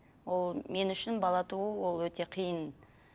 ол мен үшін бала туу ол өте қиын